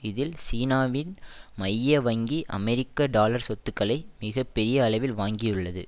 இதில் சீனாவின் மைய வங்கி அமெரிக்க டாலர் சொத்துக்களை மிக பெரிய அளவில் வாங்கியுள்ளது